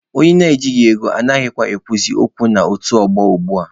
Onye ejighi ego anaghịkwa ekwuzi okwu n'otu ọgbọ ugbua.